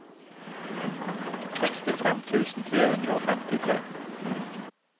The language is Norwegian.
sekstifem tusen tre hundre og femtitre